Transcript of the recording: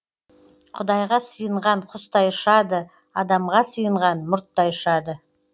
құдайға сыйынған құстай ұшады адамға сыйынған мұрттай ұшады